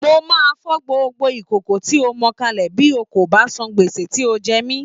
Mo máa fọ́ gbogbo ìkòkò tí ó mọ kalẹ̀ bí kò bá san gbèsè tí ó jẹ mí